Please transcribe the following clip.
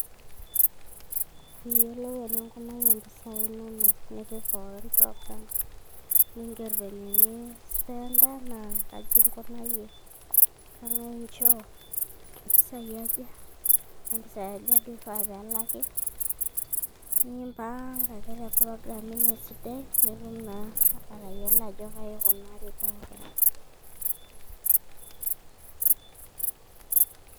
piiyiolou eninkunayie mpisai inonok nipik pookin program niingerr venye enispenta naa kaji nkunayie keng'ae nchoo mpisai aja kampisai aja duo ifaa peelaki niimpanga ake te program ino esidai nitum naa atayiollo ajo kaji ikunari pookin.